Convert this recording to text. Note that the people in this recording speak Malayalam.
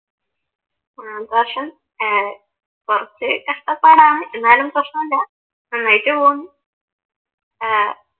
ഏർ കുറച്ച് കഷ്ട്ടപ്പാടാണ് എന്നാലും പ്രശ്‌നമില്ല നന്നായിട്ട് പോന്നു അഹ്